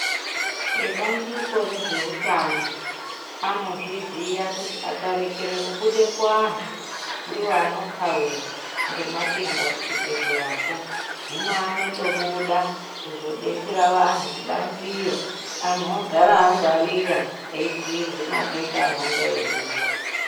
Ebandiko rezvehutano anozviziya kuti akarekere kubuda kuantu ndivo anokauya ngematenda kuchibhedhleyako. Hino anotobuda kuzobetsera vantu kubanziyo antu ogara angwarira eibhuirwe matenda anenge eiuya.